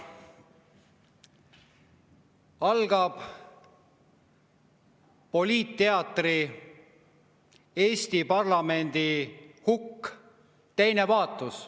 Algab poliitteatri "Eesti parlamendi hukk" teine vaatus.